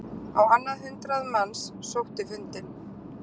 Á annað hundrað manns sótti fundinn